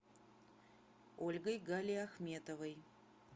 ольгой галиахметовой